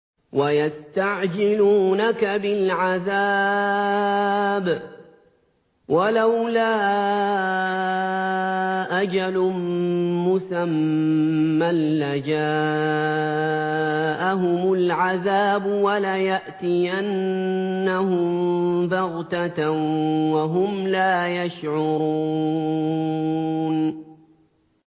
وَيَسْتَعْجِلُونَكَ بِالْعَذَابِ ۚ وَلَوْلَا أَجَلٌ مُّسَمًّى لَّجَاءَهُمُ الْعَذَابُ وَلَيَأْتِيَنَّهُم بَغْتَةً وَهُمْ لَا يَشْعُرُونَ